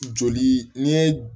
Joli ni ye